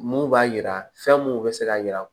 Mun b'a jira fɛn mun bɛ se k'a jira